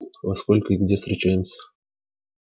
во сколько и где встречаемся